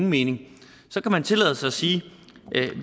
mening så kan man tillade sig at sige